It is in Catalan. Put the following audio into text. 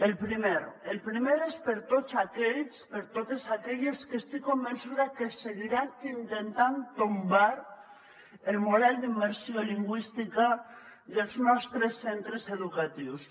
el primer és per a tots aquells per a totes aquelles que estic convençuda que seguiran intentant tombar el model d’immersió lingüística dels nostres centres educatius